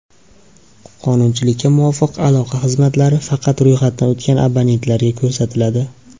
Qonunchilikka muvofiq aloqa xizmatlari faqat ro‘yxatdan o‘tgan abonentlarga ko‘rsatiladi.